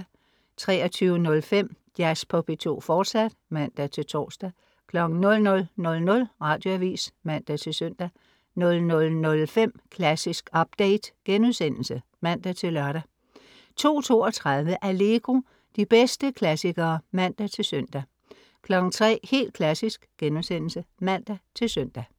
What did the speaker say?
23.05 Jazz på P2, fortsat (man-tors) 00.00 Radioavis (man-søn) 00.05 Klassisk update* (man-lør) 02.32 Allegro. De bedste klassikere (man-søn) 03.00 Helt Klassisk* (man-søn)